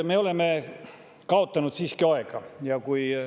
Me oleme siiski aega kaotanud.